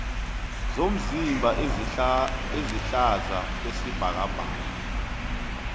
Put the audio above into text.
zomzimba ezihlaza kwesibhakabhaka